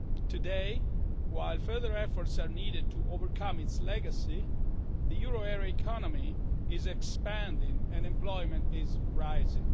Today, while further efforts are needed to overcome its legacy, the euro area economy is expanding and employment is rising.